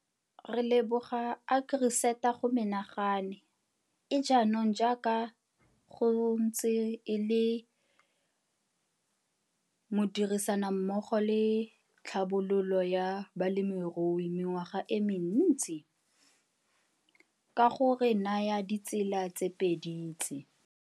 Re leboga AgriSeta go menagane, e jaanong jaaka go ntse e le modirisanimmogo le Tlhabololo ya Balemirui mengwaga e mentsi, ka go re naya dietsela tse pedi tse.